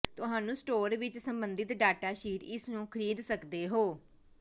ਤੁਹਾਨੂੰ ਸਟੋਰ ਵਿੱਚ ਸੰਬੰਧਿਤ ਡਾਟਾ ਸ਼ੀਟ ਇਸ ਨੂੰ ਖਰੀਦ ਸਕਦੇ ਹੋ